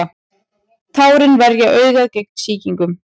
tárin verja augað gegn sýkingum